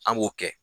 An b'o kɛ